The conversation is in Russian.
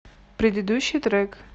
предыдущий трек